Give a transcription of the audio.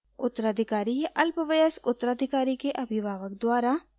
उत्तराधिकारी या अल्पवयस्क उत्तराधिकारी के अभिभावक द्वारा